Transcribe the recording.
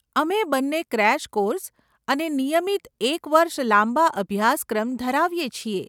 અમે બંને crash course અને નિયમિત એક વર્ષ લાંબા અભ્યાસક્રમ ધરાવીએ છીએ.